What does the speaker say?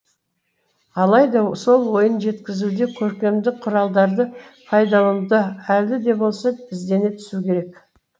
алайда сол ойын жеткізуде көркемдік құралдарды пайдалануда әлі де болса іздене түсу керек